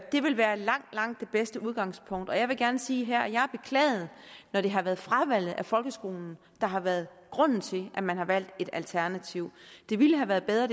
det vil være langt langt det bedste udgangspunkt og jeg vil gerne sige her at jeg har beklaget når det har været fravalget af folkeskolen der har været grunden til at man har valgt et alternativ det ville have været bedre